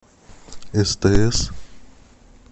стс